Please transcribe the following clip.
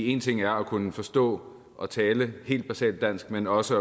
én ting er at kunne forstå og tale helt basalt dansk men også